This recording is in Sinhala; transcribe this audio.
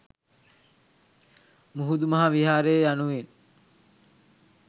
මුහුදු මහ විහාරය යනුවෙන්